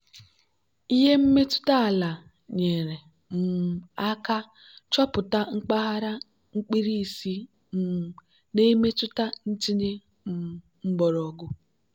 ihe mmetụta ala nyere um aka chọpụta mpaghara mkpirisi um na-emetụta ntinye um mgbọrọgwụ.